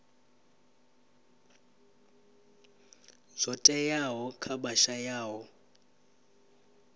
zwo teaho kha vha shayaho